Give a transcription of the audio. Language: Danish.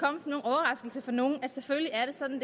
i for nogen at selvfølgelig er det sådan